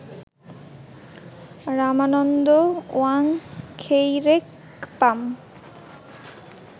Ramananda Wangkheirakpam